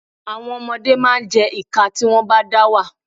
Àwọn ọmọdé máa jẹ́ ìkà nígbàtí wọ́n bá dá wà.